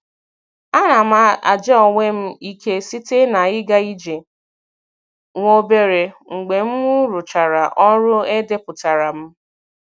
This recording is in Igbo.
A na m aja onwe m ike site na-ịga ije nwa obere mgbe mụ rụchara ọrụ e depụtara m.